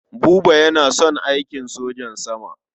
Buba yana son aikin sojan sama.